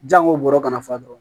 Jango bɔrɔ ka na fa dɔrɔn